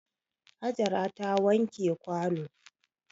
Hajara ta wanke kwano.